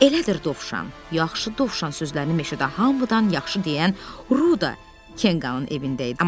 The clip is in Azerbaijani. Elədir Dovşan, yaxşı Dovşan sözlərini meşədə hamıdan yaxşı deyən Ruda Kenqanın evində idi.